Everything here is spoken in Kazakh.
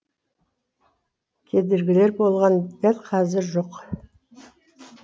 кедергілер болған дәл қазір жоқ